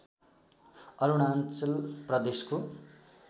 अरुणाञ्चल प्रदेशको